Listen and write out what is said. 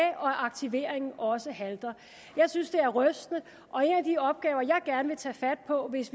at aktiveringen også halter jeg synes det er rystende og en af de opgaver jeg gerne vil tage fat på hvis